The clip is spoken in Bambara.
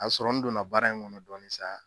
A bi sɔrɔ n donna baara in kɔnɔ dɔɔni sa